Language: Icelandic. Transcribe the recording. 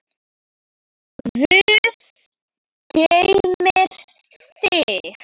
Guð geymi þig.